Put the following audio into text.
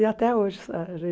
E até hoje a